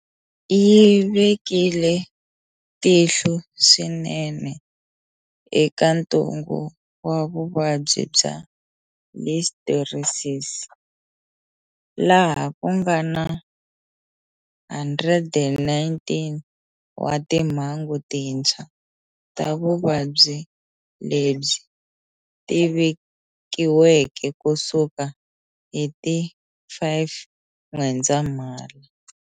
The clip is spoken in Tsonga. Yi vekile tihlo swinene eka ntungu wa vuvabyi bya Listeriosis, laha ku nga na 119 wa timhangu tintshwa ta vuvabyi lebyi leti vikiweke ku suka hi ti 5 N'wendzamhala.